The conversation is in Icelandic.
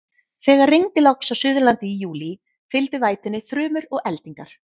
Þegar rigndi loks á Suðurlandi í júlí, fylgdu vætunni þrumur og eldingar.